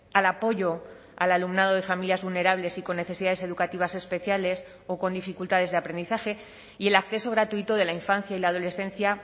al apoyo al alumnado de familias vulnerables y con necesidades educativas especiales o con dificultades de aprendizaje y el acceso gratuito de la infancia y la adolescencia